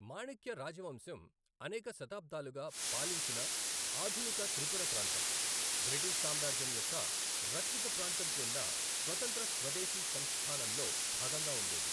మాణిక్య రాజవంశం అనేక శతాబ్దాలుగా పాలించిన ఆధునిక త్రిపుర ప్రాంతం, బ్రిటిష్ సామ్రాజ్యం యొక్క రక్షిత ప్రాంతం క్రింద స్వతంత్ర స్వదేశీ సంస్థానంలో భాగంగా ఉండేది.